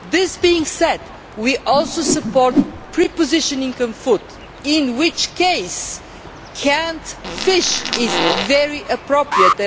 Having said that, we also support prepositioning of food, in which case canned fish is very appropriate.